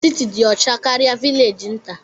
Siti dị ọcha karịa vilegi nta.